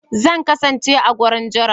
Zan kasance a wurin jira